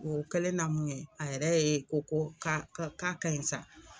O kɛlenna mun ŋɛ a yɛrɛ ye ko ko k'a ke k'a kaɲi sa